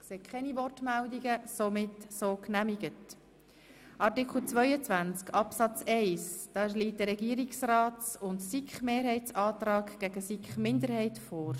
Hier steht der Antrag Regierungsrats und SiKMehrheit dem Antrag SiK-Minderheit gegenüber.